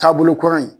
Taabolo kura in